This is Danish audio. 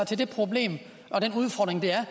til det problem og den udfordring det er